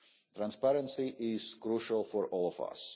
Transparency is crucial to all